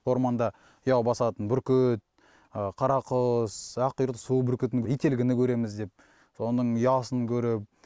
орманда ұя басатын бүркіт қарақұс аққұйрық су бүркіті ителгіні көреміз деп соның ұясын көріп